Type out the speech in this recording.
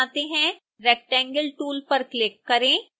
rectangle tool पर click करें